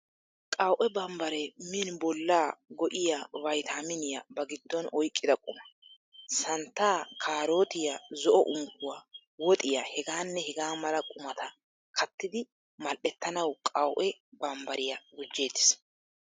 Qaw'e bambbaree min bollaa go'iya vaytaaminiyaa ba giddon oyqqida quma. Santtaa, kaarootiyaa, zo'o unkkuwaa, woxiyaa.. hegaanne hegaa mala qumata kattiiddi mal'ettanawu qawu'e bambbariyaa gujjeettes.